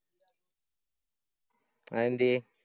അതെന്ത്യെ?